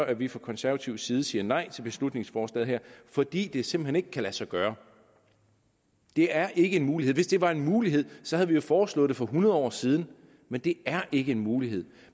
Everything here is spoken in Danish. at vi fra konservativ side siger nej til beslutningsforslaget her fordi det simpelt hen ikke kan lade sig gøre det er ikke en mulighed hvis det var en mulighed så havde vi jo foreslået det for hundrede år siden men det er ikke en mulighed